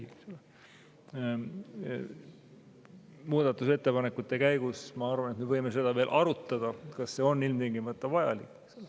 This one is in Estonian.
Muudatusettepanekute käigus, ma arvan, me võime veel arutada, kas see on ilmtingimata vajalik.